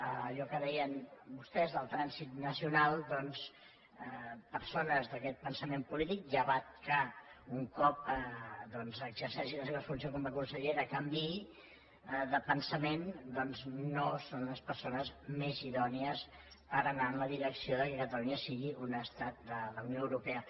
allò que deien vostès el trànsit nacional doncs persones d’aquest pensament polític llevat que un cop exerceixi les seves funcions com a consellera canviï de pensament doncs no són les persones més idònies per anar en la direcció que catalunya sigui un estat de la unió europea